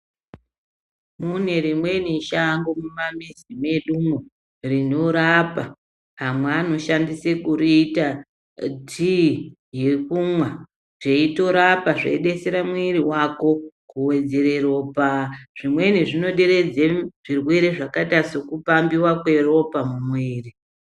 Mune rimweni shango mumamizi mwedumwo rinorapa, amwe anoshandisa kuriita tiyi yekumwa teitorapa zveidetsera mwiri wako kuwedzera ropa zvimweni zvinoderedza zvirwere zvakaita sekupambiwa kweropa mumwiri.